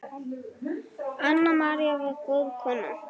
Anna María var góð kona.